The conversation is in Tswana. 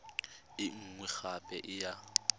e nngwe gape e ya